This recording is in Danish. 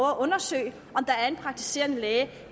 undersøge om der er en praktiserende læge